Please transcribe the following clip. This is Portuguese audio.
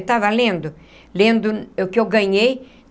Eu estava lendo, lendo, o que eu ganhei.